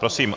Prosím.